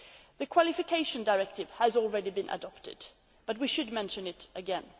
The Qualification Directive has already been adopted, but we should mention it again.